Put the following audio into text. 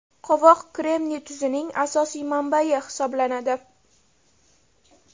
Qovoq kremniy tuzining asosiy manbayi hisoblanadi.